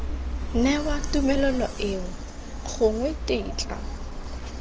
newa tumelelo eo gongwe tetla